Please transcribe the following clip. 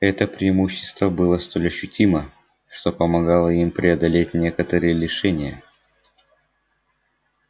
это преимущество было столь ощутимо что помогало им преодолеть некоторые лишения